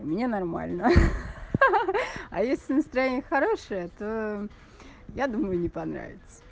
у меня нормально ха-ха а если настроение хорошее то я думаю не понравится